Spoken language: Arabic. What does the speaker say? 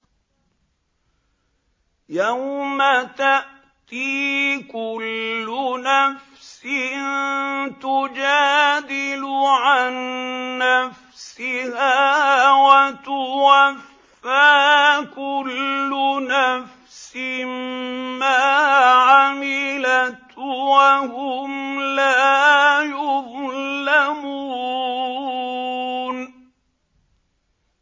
۞ يَوْمَ تَأْتِي كُلُّ نَفْسٍ تُجَادِلُ عَن نَّفْسِهَا وَتُوَفَّىٰ كُلُّ نَفْسٍ مَّا عَمِلَتْ وَهُمْ لَا يُظْلَمُونَ